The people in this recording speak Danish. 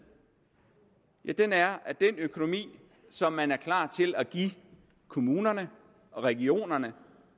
den er at den økonomi som man er klar til at give kommunerne og regionerne